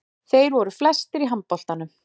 Þeir voru flestir í handboltanum.